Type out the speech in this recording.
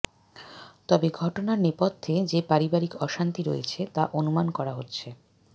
তবে ঘটনার নেপথ্যে যে পারিবারিক অশান্তি রয়েছে তা অনুমান করা হচ্ছে